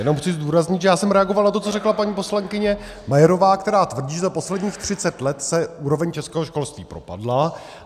Jenom chci zdůraznit, že já jsem reagoval na to, co řekla paní poslankyně Majerová, která tvrdí, že za posledních 30 let se úroveň českého školství propadla.